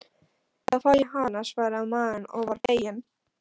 Þá fæ ég hana, svaraði maðurinn og var feginn.